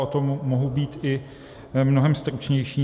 A to mohu být i mnohem stručnější.